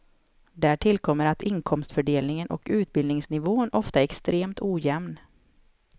Där tillkommer att inkomstfördelningen och utbildningsnivån ofta är extremt ojämn.